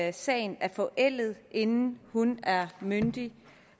at sagen er forældet inden hun er myndig